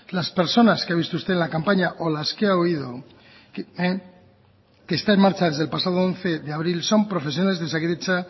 las personas que ha visto usted en la campaña o las que ha oído que está en marcha desde el pasado once de abril son profesionales de osakidetza